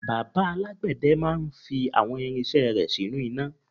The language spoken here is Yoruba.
bàbá alágbède máà ń fi àwọn irinṣẹ́ rẹ̀ sínú iná